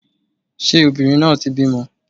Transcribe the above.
Ṣé obìnrin náà ti bímọ?